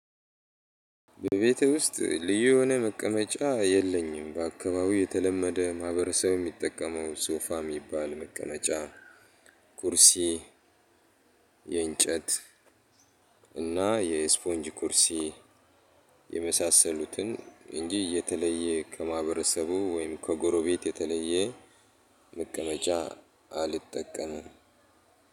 በቤቴ ውስጥ ልዩ የሆነ መቀመጫ የለኝም። በአካባቢው የተለመደ ማህበረሰብ የሚጠቀመው ሶፋ የሚባል መቀመጫ ኩርሲ የእንጨት እና የስፖንጅ ኩርሲ የመሳሰሉትን እንጂ እየተለየ ከማህበረሰቡ ወይም ከጎረቤት የተለየ። መቀመጫ አልጠቀምም።